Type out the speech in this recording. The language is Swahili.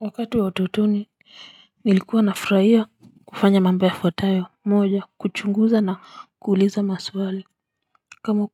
Wakati wa utotoni nilikuwa nafurahia kufanya mamba yafuatayo moja, kuchunguza na kuuliza maswali kama